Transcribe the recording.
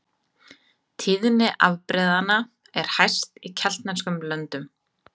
Tíðni afbrigðanna er hæst í keltneskum löndum.